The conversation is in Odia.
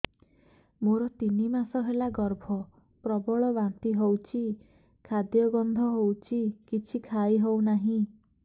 ମୋର ତିନି ମାସ ହେଲା ଗର୍ଭ ପ୍ରବଳ ବାନ୍ତି ହଉଚି ଖାଦ୍ୟ ଗନ୍ଧ ହଉଚି କିଛି ଖାଇ ହଉନାହିଁ